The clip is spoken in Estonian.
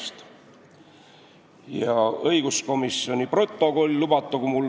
Lubatagu mul veel ette kanda õiguskomisjoni koosoleku protokoll.